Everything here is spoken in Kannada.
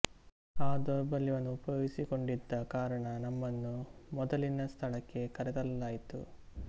ಆ ದೌರ್ಬಲ್ಯವನ್ನು ಉಪಯೋಗಿಸಿಕೊಂಡಿದ್ದ ಕಾರಣ ನಮ್ಮನ್ನು ಮೊದಲಿನ ಸ್ಥಳಕ್ಕೆ ಕರೆತರಲಾಯಿತು